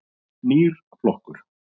Nýr flokkur.